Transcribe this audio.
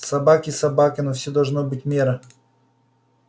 собаки собаками но всему должна быть мера